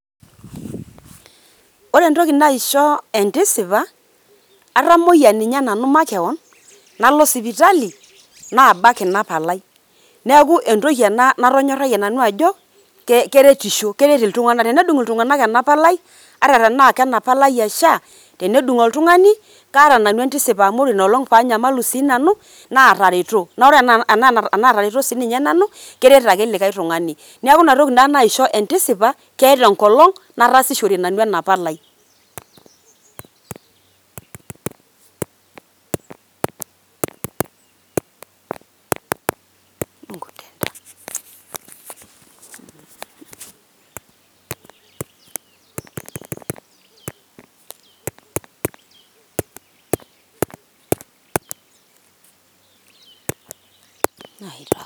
wore entoki naishoo entisipa naa atamoyiaa nanu makewon nalo sipitali babak inaa palai neaku entoki enaa natonyorayiee ajo keretisho keret iltunanak, enedung iltunganak ena palai ata enaa ena palai e SHA enedung' oltungani kaata nanu entisipa amu woore nolong paanyamalu nanu natareto. Wore enaa enatareto sinanu kereti ake likai tungani neaku natoki naishoo entisipa ketaa enkolong naatasishore nanu ena palai.